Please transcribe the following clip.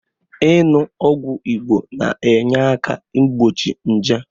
Inu ogwu Igbo na-enyeaka igbochi nje